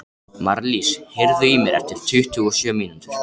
Marlís, heyrðu í mér eftir tuttugu og sjö mínútur.